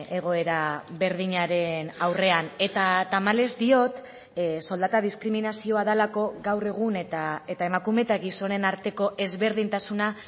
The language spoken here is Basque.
egoera berdinaren aurrean eta tamalez diot soldata diskriminazioa delako gaur egun eta emakume eta gizonen arteko ezberdintasuna